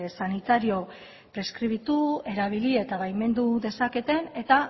sanitario preskribitu erabili eta baimendu dezaketen eta